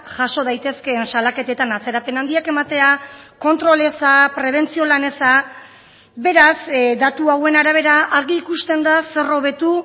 jaso daitezkeen salaketetan atzerapen handiak ematea kontrol eza prebentzio lan eza beraz datu hauen arabera argi ikusten da zer hobetu